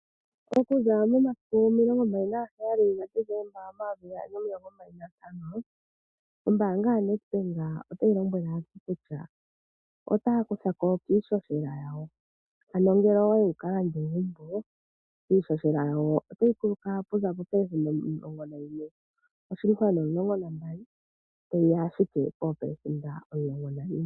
Okuza momasiku omilongo 27 ga Decemba 2025 ombanga yaNedbank otayi lombwele aantu kutya otaya kuthako kiihohela yawo, ano ngele owayi wukalande egumbo iihohela yawo otayi kuluka oku za 11.12% tayi ya ashike po 11.00%.